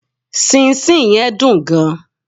sinsin yen dun gan